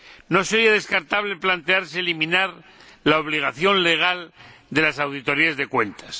No sería descartable plantearse eliminar la obligación legal de las auditorías de cuentas.